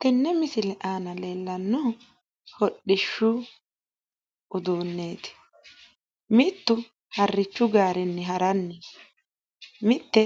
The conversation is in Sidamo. tenne misile aana leellannohu hodhishshu uduunneeti mittu harrichu gaarenni haranni no mitte